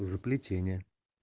заплетение